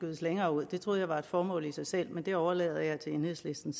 længere ud det troede jeg var et formål i sig selv men det overlader jeg til enhedslisten